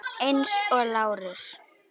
Eins og Lárus.